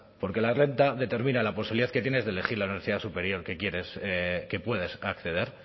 porque la renta determina la posibilidad que tienes de elegir la universidad superior que quieres que puedes acceder